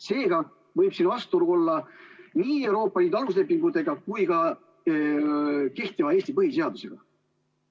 Seega võib siin vastuolu olla nii Euroopa Liidu aluslepingutega kui ka Eesti põhiseadusega.